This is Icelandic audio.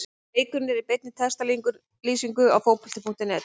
Leikurinn er í beinni textalýsingu hér á Fótbolti.net.